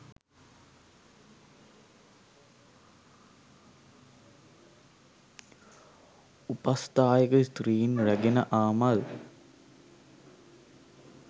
උපස්ථායක ස්ත්‍රීන් රැගෙන ආ මල්